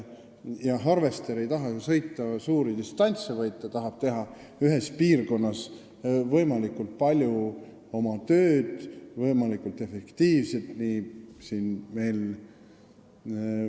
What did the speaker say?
Harvester ei taha ju sõita pikki distantse, vaid ta tahab teha ühes piirkonnas võimalikult palju ja võimalikult efektiivselt tööd.